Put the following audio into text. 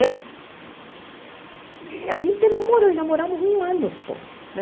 A gente namorou e namoramos um ano só, né?